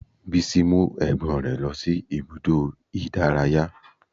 Bísí mú ẹ̀gbọ́n rẹ̀ lọ sí ibùdó ìdárayá